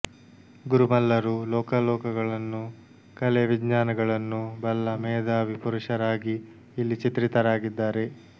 ಗುರುಮಲ್ಲರು ಲೋಕಲೋಕಗಳನ್ನು ಕಲೆ ವಿಜ್ಞಾನಗಳನ್ನು ಬಲ್ಲ ಮೇಧಾವಿ ಪುರುಷರಾಗಿ ಇಲ್ಲಿ ಚಿತ್ರಿತರಾಗಿದ್ದಾರೆ